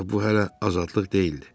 Ancaq bu hələ azadlıq deyildi.